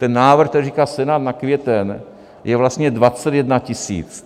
Ten návrh, který říká Senát na květen, je vlastně 21 tisíc.